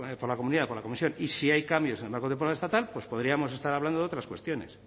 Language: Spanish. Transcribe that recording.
por la comisión y si hay cambios en el marco temporal estatal pues podríamos estar hablando de otras cuestiones